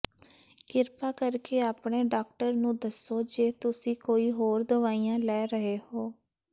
ਕਿਰਪਾ ਕਰਕੇ ਆਪਣੇ ਡਾਕਟਰ ਨੂੰ ਦੱਸੋ ਜੇ ਤੁਸੀਂ ਕੋਈ ਹੋਰ ਦਵਾਈਆਂ ਲੈ ਰਹੇ ਹੋ